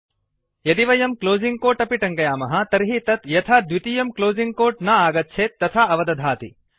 यदि वयं closing quote अपि टङ्कयामः तर्हि तत् यथा द्वितीयं क्लोसिंग् कोट् न आगच्छेत् तथा अवदधाति